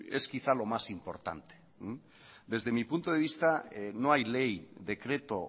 es quizá lo más importante desde mi punto de vista no hay ley decreto